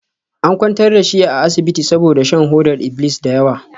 An kwantar da shi a asibiti saboda shan hodar iblis da yawa.